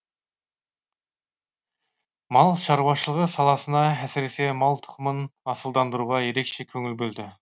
мал шаруашылығы саласына әсіресе мал тұқымын асылдандыруға ерекше көңіл бөлді